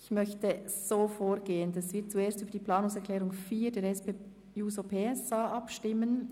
Ich möchte so vorgehen, dass wir zuerst über die Planungserklärung 4 der SP-JUSO-PSA abstimmen.